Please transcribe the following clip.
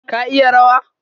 Ka iya rawa?